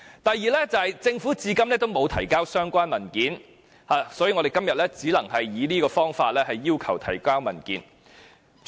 第二，政府至今仍沒有提交相關文件，所以，我們今天只能以這方法要求他們提交文件。